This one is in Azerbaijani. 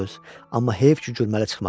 Amma heyf ki gürrəli çıxmadın.